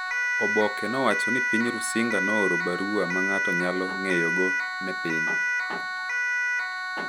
Oboke nowacho ni piny Rusinga nooro barua ma ng’ato nyalo ng’eyogo ne piny.